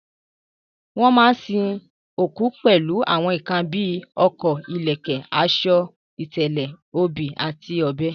Wọ́n máa sin òkú pẹ̀lú àwọn nǹkan bí ọkọ́, ìlẹ̀kẹ̀, aṣọ, ìtẹ̀lẹ̀, obì àti ọ̀bẹ.